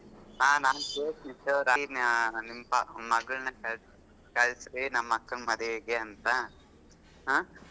ಹಾ ನಾನ್ ಕೇಳ್ತೀನಿ ಅಹ್ ಮಾ ನಿಮ್ ಮಗ~ ಮಗಳ್ನ ಕಳಸ್~ ಕಳಸ್ರೀ ನಮ್ ಅಕ್ಕನ್ ಮದ್ವೆಗೆ ಅಂತ ಹ್ಮ್.